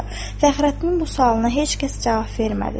Fəxrəddin bu sualına heç kəs cavab vermədi.